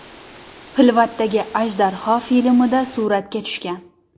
Xilvatdagi ajdarho” filmida suratga tushgan.